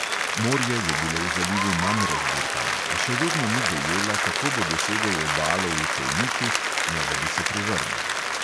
Morje je bilo v zalivu manj razburkano, a še vedno ni dojela, kako bo dosegel obalo v čolniču, ne da bi se prevrnil.